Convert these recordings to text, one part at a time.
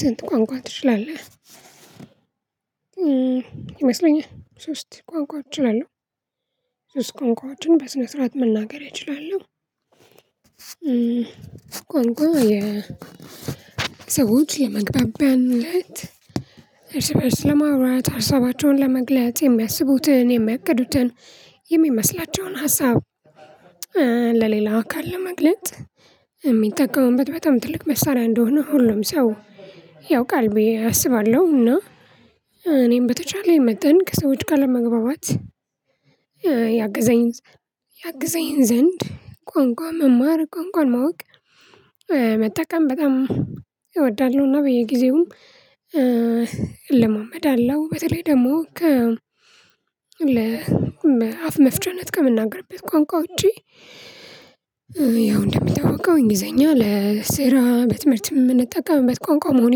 ስንት ቋንቋ ትችላለህ? ይመስለኛል ሶስት ቋንቋዎች እችላለሁ። ሶስት ቋንቋዎችን በስነ ስርዓት መናገር እችላለሁ። ጎልጎል የሰዎች የመግባቢያነት እርስ በርስ ለማውራት ሀሳባቸውን ለመግለጽ የሚያስቡትን የሚያገቅዱትን የሚመስላቸውን ሀሳብ ለሌላ አካል ለመግለጥ የሚጠቀሙበት በጣም ትልቅ መሳሪያ እንደሆነ ሁሉም ሰው ያውቃል ብዬ አስባለሁ። እና እኔም በተቻለ የመጠን ከሰዎች ጋ ለመግባባት ያግዘኝ ያግዘኝ ዘንድ ቋንቋ መማር ቋንቋን ማወቅ መጠቀም በጣም እወዳለሁ እና በየጊዜውም አለው በተለይ ደግሞ ከ አፍ መፍቻነት ከምናገርበት ቋንቋ ውጪ ያው እንደምታውቀው እንግሊዘኛ ለስራ በትምህርት የምንጠቀምበት ቋንቋ መሆኑ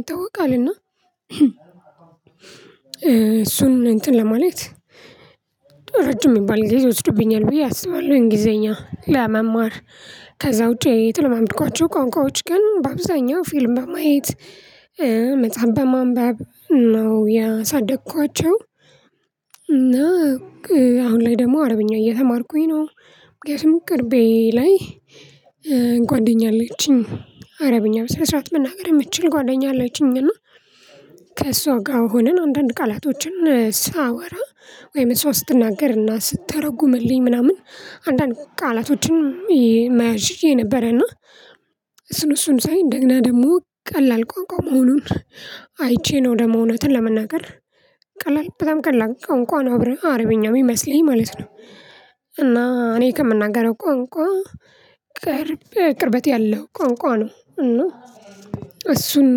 ይታወቃል እና እሱን እንትን ለማለት ረጅም የሚባል ጊዜ ይወስዱብኛል ብዬ አስባለሁ እንግሊዘኛ ለመማር ከዛ ውጪ የተለማመድኳቸው ቋንቋዎች ግን በአብዛኛው ፊልም በማየት መጽሐፍ በማንበብ ነው ያሳደኳቸው። እና አሁን ላይ ደግሞ አረብኛ እየተማርኩኝ ነው ምክንያቱም ቅርቤ ላይ ጓደኛ አለችኝ አረብኛ በስነስራት መናገር የምትችል ጓደኛ አለችኝ እና ከእሷ ጋር ሆነን አንዳንድ ቃላቶችን ሳወራ ወይም ሰው ስትናገርና ስትተረጉምልኝ ምናምን አንዳንድ ቃላቶችን መያዝ ችየ ነበረና እሱን እሱን ሳይ እንደገና ደግሞ ቀላል ቋቋ መሆኑን አይቼ ነው ደግሞ እውነቱን ለመናገር ቀላል በጣም ቀላል ቋንቋ ነው አብረ አረብኛው የሚመስለኝ ማለት ነው። እና እኔ ከምናገረው ቋንቋ ቅርብ ቅርበት ያለው ቋንቋ ነው እና እሱን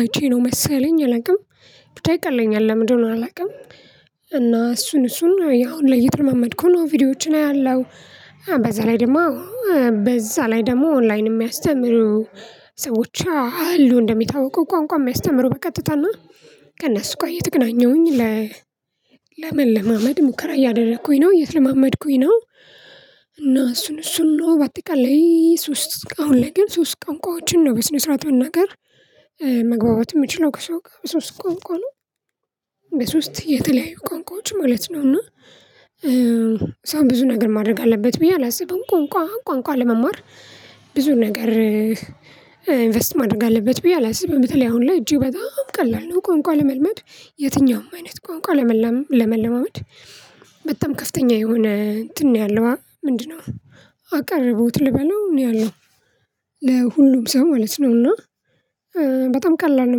አይቼ ነው መሰለኝ አላውቅም ብቻ ይቀለኛል ለምን እንደሆነ አላውቅም እና እሱን እሱን አሁን ላይ እየተለማመድኩ ነው። ቪዲዮዎችን አያለሁ በዛ ላይ ደግሞ በዛ ላይ ደግሞ ኦንላይን የሚያስተምሩ ሰዎች አሉ እንደሚታወቀው ቋንቋ የሚያስተምሩ በቀጥታና ከእነሱ ጋ እየተገናኘሁኝ ለ ለመለማመድ ሙከራ እያደረኩኝ ነው እየተለማመድኩኝ ነው እና እሱን እሱን ነው በአጠቃላይ ሶስት አሁን ላይ ግን ሶስት ቋንቋዎችን ነው በስነ ስርዓት መናገር መግባባት የምችለው ከሰው ጋር በሶስት ቋንቋ ነው። በሶስት የተለያዩ ቋንቋዎች ማለት ነው እና ሰው ብዙ ነገር ማድረግ አለበት ብዬ አላስብም ቋንቋ ቋንቋ ለመማር ብዙ ነገር ኢንቨስት ማድረግ አለበት ብዬ አላስብም በተለይ አሁን ላይ እጅግ በጣም ቀላል ነው ቋንቋ ለመልመድ የትኛውም አይነት ቋንቋ ለመለማመድ በጣም ከፍተኛ የሆነ እንትን ነው ያለው ምንድነው አቀረቦትት ልበለው ነው ያለው ለሁሉም ሰው ማለት ነው እና ቀላል ነው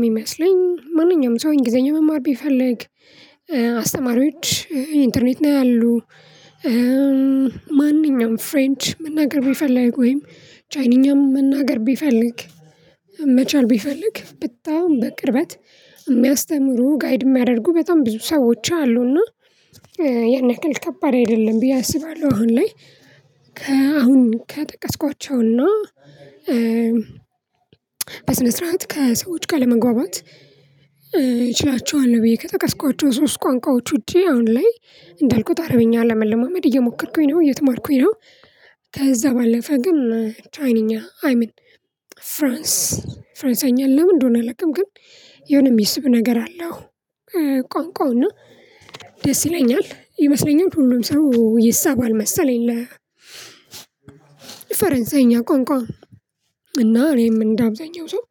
የሚመስለኝ ማንኛውም ሰው እንግሊዘኛ መማር ቢፈልግ አስተማሪዎች ኢንተርኔት ነው አሉ፤ ማንኛውም ፍሬንች መናገር ቢፈልግ ወይም ቻይንኛም መናገር ቢፈልግ መቻል ቢፈልግ በጣም በቅርበት የሚያስተምሩ ጋይድ የሚያደርጉ በጣም ብዙ ሰዎች አሉና ያን ያክል ከባድ አይደለም ብዬ አስባለሁ አሁን ላይ ከአሁን ከጠቀስኳቸውና በስነ ስርዓት ከሰዎች ጋ ለመግባባት እችላቸዋል ብዬ ከጠቀስኳቸው ሶስት ቋንቋዎች ውጪ አሁን ላይ እንዳልኩት አረብኛ ለመለማመድ እየሞከርኩኝ ነው እየተማርኩኝ ነው ከዛ ባለፈ ግን ቻይኒኛ አይ ሚን ፍራንስ ፈረንሳይኛ ለምን እንደሆነ አላውቅም ግን የሆነ የሚስብ ነገር አለው ቋንቋውና ደስ ይለኛል ይመስለኛል ሁሉም ሰው ይሳባል መሰለኝ ለ ፈረንሳይኛ ቋንቋ እና እኔም እንደ አብዛኛው ሰው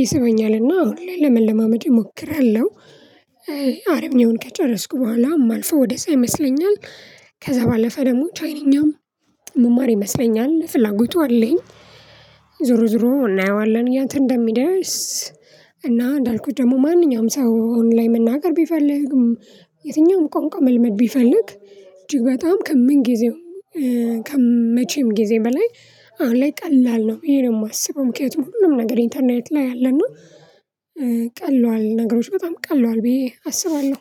ይስበኛልና አሁን ላይ ለመለማመድ እሞክራለሁ አረብኛውን ከጨረስኩ በኋላ የማልፈው ወደ ዛ ይመስለኛል ከዛ ባለፈ ደግሞ ቻይንኛም ምማር ይመስለኛል ፍላጎቱ አለኝ። ዞሮ ዞሮ እናየዋለን ይት እንደሚደርስ እና እንዳልኩት ደግሞ ማንኛውም ሰው ኦንላይን መናገር ቢፈልግም የትኛውም ቋንቋ መልመድ ቢፈልግ እጅግ በጣም ከምን ጊዜው ከመቼም ጊዜ በላይ አሁን ላይ ቀላል ነው ይብዬ ነው የማስበው ምክንያቱም ሁሉም ነገር ኢንተርኔት ላይ አለና ቀለዋል ነገሮች በጣም ቀለዋል ብዬ አስባለሁ